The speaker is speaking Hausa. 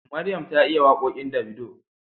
Maryam ta iya waƙoƙin Davido